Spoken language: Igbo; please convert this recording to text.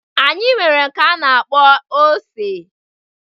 Anyị nwere nke anyi na-akpọ ose